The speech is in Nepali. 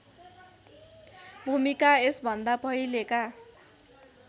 भुमिका यसभन्दा पहिलेका